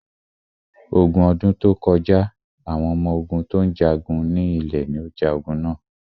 Ogun ọdún tó kọjá, àwọn ọmọ ogún tí ó ń jagun ní ilẹ̀ ní o ja ogun na.